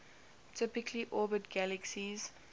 typically orbit galaxies